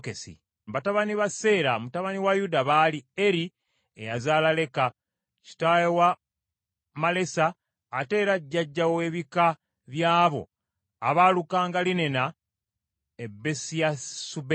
Batabani ba Seera mutabani wa Yuda baali Eri eyazaala Leka, kitaawe wa Malesa, ate era jjajja w’ebika by’abo abaalukanga linena e Besiyasubeya,